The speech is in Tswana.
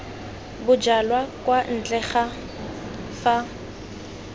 bojalwa kwa ntle ga fa